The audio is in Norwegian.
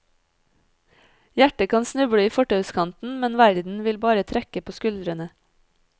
Hjertet kan snuble i fortauskanten, men verden vil bare trekke på skuldrene.